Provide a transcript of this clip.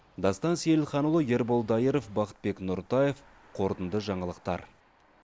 дастан сейілханұлы ербол дайыров бақытбек нұртаев қорытынды жаңалықтар